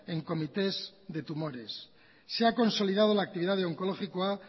en comités de tumores se ha consolidado la actividad de onkologikoa